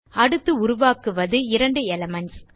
அடுத்து உருவாக்குவது இரண்டு எலிமென்ட்ஸ்